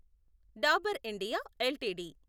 Dabur India LTD